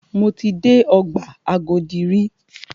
Mo ti dé ọgbà Agodi rí.